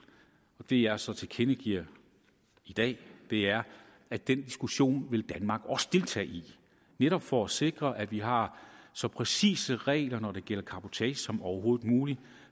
det jeg så tilkendegiver i dag er at den diskussion vil danmark også deltage i netop for at sikre at vi har så præcise regler når det gælder cabotage som overhovedet muligt